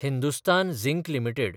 Hindustan zinc limited